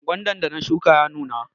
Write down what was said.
Gwandan da na shuka ya nuna.